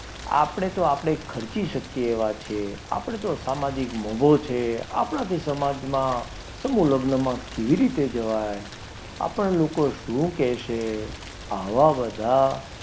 આપણે તો આપણે ખર્ચી શકીએ તેવા છીએ, તો આપણે તો સામાજિક મોંઘો છે મોભો છે આપણાથી સમાજમાં સમૂહ લગ્નમાં કેવી રીતે જવાય, આપણને લોકો શું કહેશે, આવા બધા,